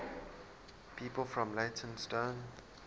people from leytonstone